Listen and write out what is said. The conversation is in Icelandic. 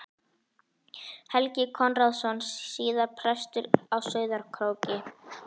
Helgi Konráðsson, síðar prestur á Sauðárkróki.